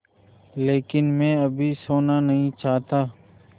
लेकिन मैं अभी सोना नहीं चाहता